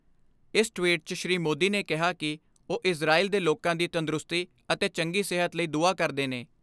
ਇਕ ਟਵੀਟ 'ਚ ਸ੍ਰੀ ਮੋਦੀ ਨੇ ਕਿਹਾ ਕਿ ਉਹ ਇਜ਼ਰਾਇਲ ਦੇ ਲੋਕਾਂ ਦੀ ਤੰਦਰੁਸਤੀ ਅਤੇ ਚੰਗੀ ਸਿਹਤ ਲਈ ਦੁਆ ਕਰਦੇ ਨੇ।